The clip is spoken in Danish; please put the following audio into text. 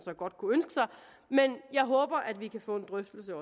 godt kunne ønske sig men jeg håber at vi kan få en drøftelse